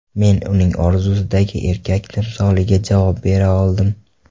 Men uning orzusidagi erkak timsoliga javob bera oldim.